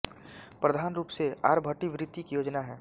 प्रधान रूप से आरभटी वृत्ति की योजना है